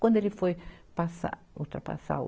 Quando ele foi passar, ultrapassar o...